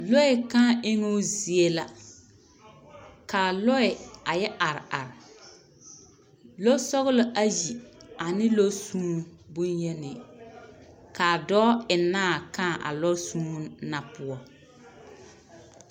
Lɔɛ kaa eŋoo zie la kaa lɔɛ a yɛ are are lɔsɔglɔ ayi ane lɔsuun boŋyeni kaa dɔɔ eŋnaa kaa a lɔsuun na poɔ.